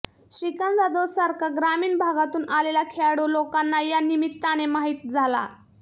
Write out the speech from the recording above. श्रीकांत जाधव सारखा ग्रामीण भागातून आलेला खेळाडू लोकांना या निमित्ताने माहित झाला